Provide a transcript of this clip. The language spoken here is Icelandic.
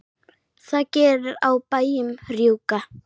það gerir á bæjunum rjúka.